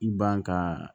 I ban ka